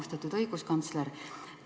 Austatud õiguskantsler!